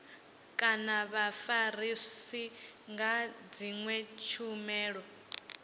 kana vhafarisi nga dzinwe tshumelo